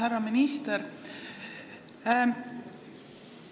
Härra minister!